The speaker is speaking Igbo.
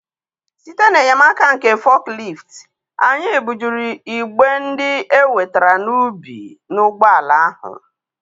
site n'enyemaka nke forklift, anyị bujuru igbe ndị e wetara n'ubi n'ụgbọala ahụ.